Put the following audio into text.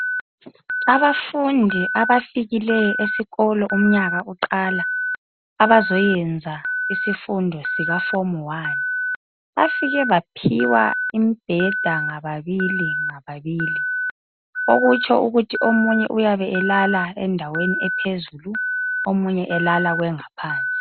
Abafundi abafikileyo esikolo umnyaka uqala abazoyenza isifundo sikaform one. Bafike baphiwa imibheda ngababili ngababili okutsho ukuthi omunye uyabe elala endaweni ephezulu omunye elala kwengaphansi.